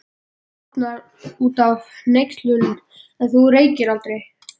Hann tútnar út af hneykslun: En þú reykir aldrei!